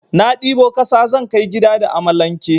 Na ɗibo kasa zan kai gida da amalanke.